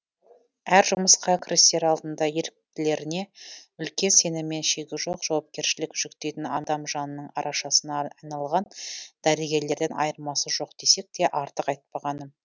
әр жұмысқа кірісер алдында еріктілеріне үлкен сеніммен шегі жоқ жауапкершілік жүктейтін адам жанының арашасына айналған дәрігерлерден айырмасы жоқ десек те артық айтпағаным